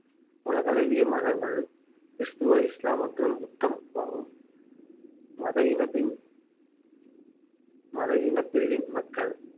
உலகளவிய மதங்கள் கிறிஸ்துவ இஸ்லாம் மற்றும் புத்தமாகும் மத இனத்தின் மத இனப் பிரிவின் மக்கள்